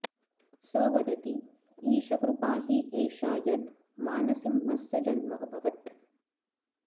स वदति ईशकृपा हि एषा यद् मानसिंहस्य जन्म अभवत्